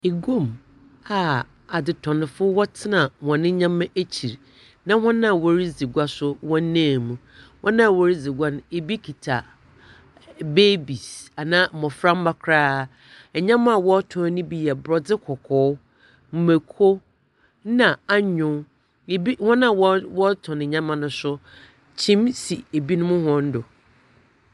Iguam a adzetɔnfo wɔtsena hɔn nneɛma ekyir, na hɔn a wɔredzi gua nso wɔnam mu. Wɔn a wɔredzi gu no ebi kuta babies anaa mmɔframma koraa. Nneɛma a wɔretɔn no bi yɛ borɔdze kɔkɔɔ, mmako na anyow. Ebi wɔn a wɔ wɔretɔn nneɛma no nso, kyim si ebinom hɔn do.